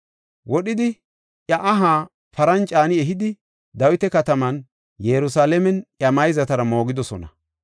Wodhidi iya aha paran caani ehidi, Dawita kataman Yerusalaamen iya mayzatara moogidosona.